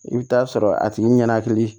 I bɛ taa sɔrɔ a tigi ɲɛnakili